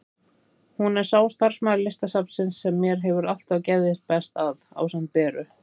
Hún er sá starfsmaður Listasafnsins sem mér hefur alltaf geðjast best að, ásamt Beru.